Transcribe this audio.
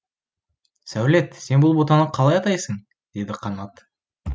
сәулет сен бұл ботаны қалай атайсың деді қанат